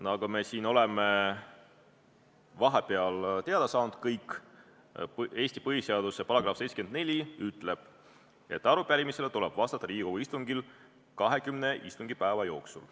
Nagu me siin oleme vahepeal kõik teada saanud, Eesti põhiseaduse § 74 ütleb, et arupärimisele tuleb vastata Riigikogu istungil 20 istungipäeva jooksul.